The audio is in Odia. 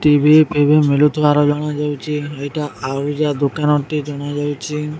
ଟି_ଭି ଫିବି ମିଳୁଥିବାର ଜଣାଯାଉଚି ଏଟା ଆଉଜା ଦୋକାନ ଟି ଜଣା ଯାଉଚି।